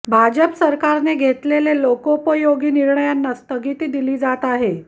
भाजप सरकारने घेतलेले लोकोपयोगी निर्णयांना स्थगिती दिली जात आहे